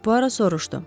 Puaro soruşdu.